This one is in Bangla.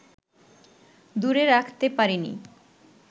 দূরে রাখতে পারেনি